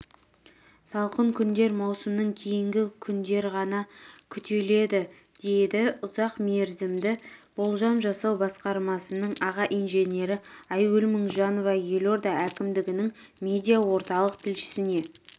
салқын күндер маусымның кейін ғана күтіледі деді ұзақ мерзімді болжам жасау басқармасының аға инженері айгүл мыңжанова елорда әкімдігінің медиа-орталық тілшісіне